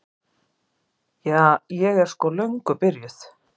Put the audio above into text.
Ja, ég er sko löngu byrjuð.